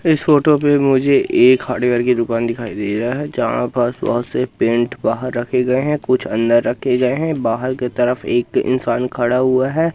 इस फोटो पे मुझे एक हार्डवेयर की दुकान दिखाई दे रहा है जहां पास बहोत से पेंट बाहर रखे गए है कुछ अंदर रखे गए है बाहर के तरफ एक इंसान खड़ा हुआ है।